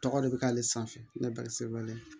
Tɔgɔ de bɛ k'ale sanfɛ ne bɛ se wale